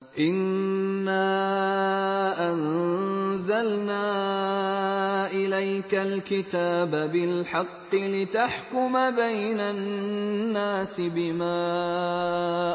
إِنَّا أَنزَلْنَا إِلَيْكَ الْكِتَابَ بِالْحَقِّ لِتَحْكُمَ بَيْنَ النَّاسِ بِمَا